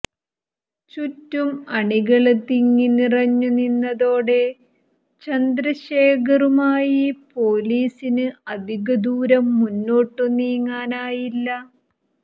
ചുറ്റും അണികള് തിങ്ങിനിറഞ്ഞു നിന്നതോടെ ചന്ദ്രശേഖറുമായി പോലീസിന് അധികദൂരം മുന്നോട്ടു നീങ്ങാനായില്ല